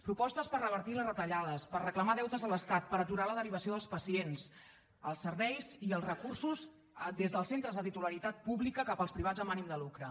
propostes per revertir les retallades per reclamar deutes a l’estat per aturar la derivació dels pacients els serveis i els recursos des dels centres de titularitat pública cap als privats amb ànim de lucre